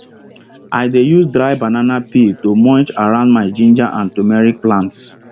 i dey use dry banana peel to mulch around my ginger and turmeric plants